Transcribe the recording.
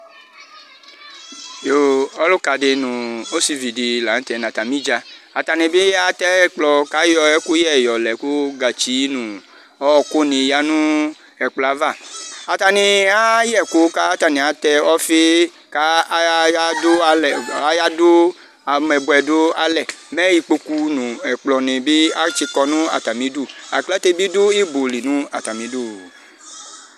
Yoo! Ɔlʋka di nʋ osivi di lanʋ tɛ nʋ atami idzǝ Atani bɩ atɛ ɛkplɔ kʋ ayɔ ɛkʋyɛ yɔ lɛ kʋ gǝtsi nʋ ɔɔku nɩ yǝ nʋ ɛkplɔ yɛ ava Atani ayayɛ ɛkʋ, kʋ atani atɛ ɔfɩ, kʋ ayadu amɛbʋɛ dʋalɛ Mɛ ikpoku nʋ ɛkplɔni bɩ atsikɔ nʋ atami ɩdʋ Aklate ni bɩ du ɩbɔ li nʋ atami ɩdʋ